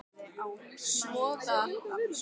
Svoað hann verði ekki einsog þau.